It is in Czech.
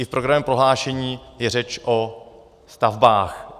I v programovém prohlášení je řeč o stavbách.